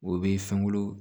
O bɛ fɛnko